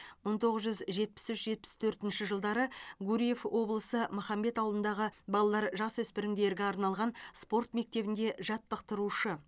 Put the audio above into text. мың тоғыз жүз жетпіс үш жетпіс төртінші жылдары гурьев облысы махамбет ауылындағы балалар жасөспірімдерге арналған спорт мектебінде жаттықтырушы